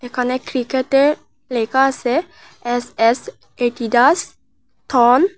এখানে ক্রিকেটে লেখা আসে এস এস এডিডাস থন ।